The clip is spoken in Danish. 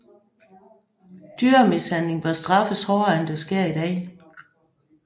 Dyremishandling bør straffes hårdere end det sker i dag